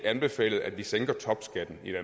anbefalet at vi sænker topskatten i